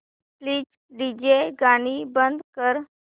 please DJ गाणी बंद कर